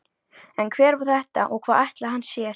En hver var þetta og hvað ætlaði hann sér?